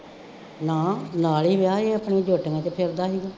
ਨਾਂ ਨਾਲੇ ਹੀ ਵਿਆਹ ਸੀ ਆਪਣੀ ਜੋਟੀਆਂ ਚ ਫਿਰਦਾ ਸੀਗਾ,